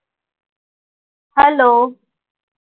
hello